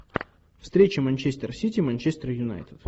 встреча манчестер сити манчестер юнайтед